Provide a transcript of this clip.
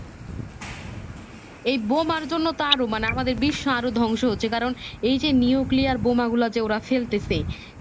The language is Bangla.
এই বোমার জন্য তো আরো মানে আমাদের বিশ্ব আরো ধ্বংস হচ্ছে কারণ এই যে newkiliyar বোমা গুলা যেওরা ফেলতেছে